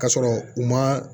Ka sɔrɔ u ma